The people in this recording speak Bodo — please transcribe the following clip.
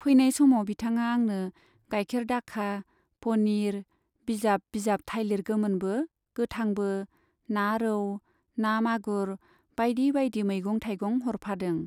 फैनाय समाव बिथाङा आंनो गाइखेर दाखा , पनिर , बिजाब बिजाब थाइलिर गोमोनबो गोथांबो , ना रौ , ना मागुर बाइदि बाइदि मैगं थाइगं हरफादों।